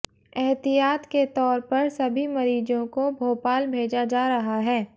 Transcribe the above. एहतियात के तौर पर सभी मरीजों को भोपाल भेजा जा रहा है